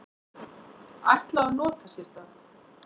ætla að nota sér það.